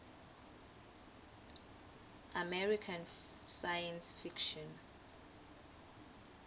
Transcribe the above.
american science fiction